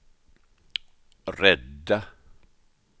rädda